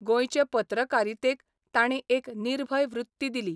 गॉयचे पत्रकारितेक तांणी एक निर्भय वृत्ती दिली.